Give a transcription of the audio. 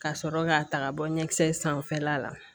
Ka sɔrɔ k'a ta ka bɔ ɲɛkisɛ sanfɛla la